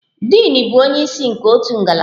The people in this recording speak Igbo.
Din bụ onye isi nke otu ngalaba.